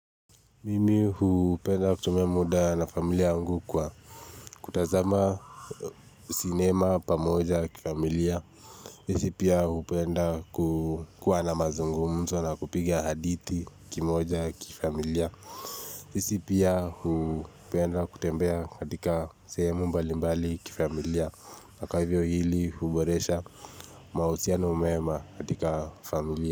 Mimi hupenda kutumia muda na familia yangu kwa kutazama sinema pamoja kifamilia sisi pia hupenda kukua na mazungumzo na kupigia hadithi kimoja kifamilia sisi pia hupenda kutembea katika sehemu mbali mbali kifamilia na kwa hivyo hili huboresha mahusiano mema katika familia.